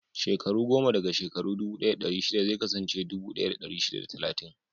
Shekaru goma daga shekaru dubu ɗaya da ɗari shida zai kasance dubu ɗaya da dari shida da talatin.